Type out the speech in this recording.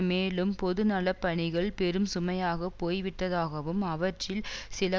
மேலும் பொதுநலப் பணிகள் பெரும் சுமையாக போய்விட்டதாகவும் அவற்றில் சில